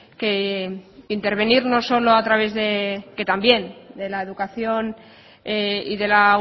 que intervenir no solo a través que también de la educación y de la